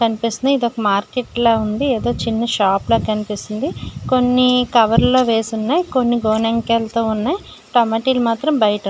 కనిపిస్తుంది ఇది ఒక మార్కెట్ లా ఉంది. ఏదో చిన్న షాప్ లా కనిపిస్తుంది. కొన్ని కవర్ లో వేసి ఉన్నాయ్. కొన్ని గోనె అంకెలతో ఉన్నాయ్. టొమాటో లు మాత్రం బయట ఉన్--